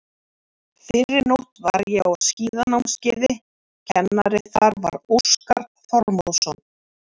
fyrrinótt var ég á skíðanámskeiði, kennari þar var Óskar Þormóðsson.